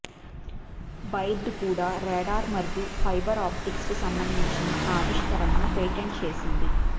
buried కూడా radar మరియు fibre ఆప్టిక్స్కు సంబంధించి ఆవిష్కరణలను పేటెంట్ చేసింది